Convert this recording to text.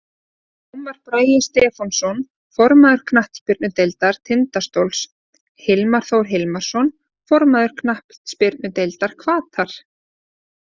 Ómar Bragi Stefánsson, formaður knattspyrnudeildar Tindastóls Hilmar Þór Hilmarsson, formaður knattspyrnudeildar Hvatar.